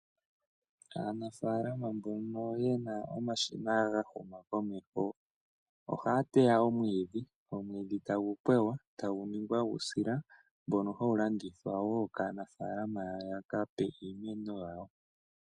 Aanafaalama mboka yena omashina gahuma komeho ohaya pweya omwidhi, omwidhi tagu pweywa tagu ningwa uusila mboka hawu landithwa wo kaanafalama yaka pe iimeno yawo.